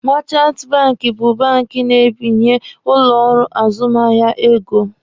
Meechanti banki bụ bank na-ebinye ụlọ ọrụ azụmahịa ego.